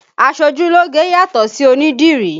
Aṣojúlógé yàtọ̀ sí onídìrí